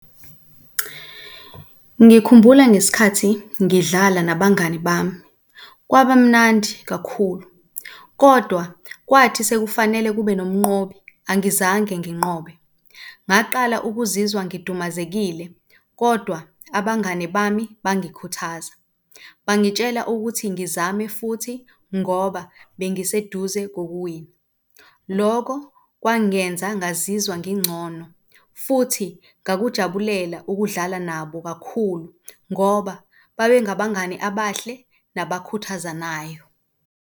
Ngikhumbula ngesikhathi ngidlala nabangani bami kwabamnandi kakhulu kodwa kwathi sekufanele kube nomnqobi, angizange nginqobe. Ngaqala ukuzizwa ngidumazekile kodwa abangani bami bangikhuthaza, bangitshela ukuthi ngizame futhi ngoba bengiseduze kokuwina. Lokho kwangenza ngazizwa ngingcono futhi ngakujabulela ukudlala nabo kakhulu ngoba babengabangani abahle nabakhuthazanayo.